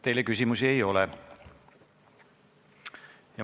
Teile küsimusi ei ole.